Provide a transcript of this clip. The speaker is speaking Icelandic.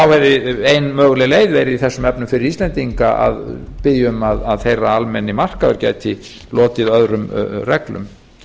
þá hefði ein möguleg leið verið í þessum efnum fyrir íslendinga að biðja um að þeirra almenni markaður gæti lotið öðrum reglum